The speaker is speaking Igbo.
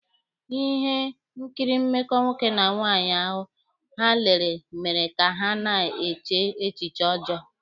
Ihe nkiri mmekọ nwoke na nwaanyị ahụ ha lere mere ka ha na-eche echiche ọjọọ.